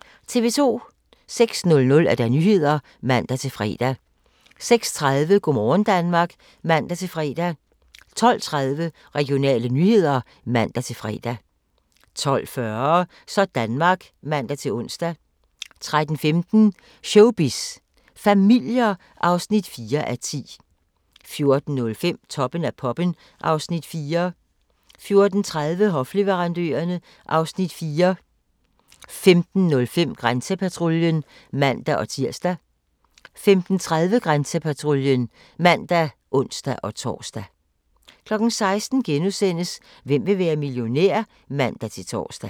06:00: Nyhederne (man-fre) 06:30: Go' morgen Danmark (man-fre) 12:30: Regionale nyheder (man-fre) 12:40: Sådanmark (man-ons) 13:15: Showbiz familier (4:10) 14:05: Toppen af poppen (Afs. 4) 14:30: Hofleverandørerne (Afs. 4) 15:05: Grænsepatruljen (man-tir) 15:30: Grænsepatruljen (man og ons-tor) 16:00: Hvem vil være millionær? *(man-tor)